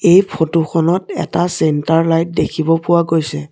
এই ফটো খনত এটা চেন্টাৰ লাইট দেখিব পোৱা গৈছে।